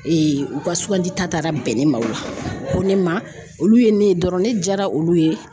u ka sugandi ta taara bɛn ne ma o la u ko ne ma olu ye ne ye dɔrɔn ne jaara olu ye.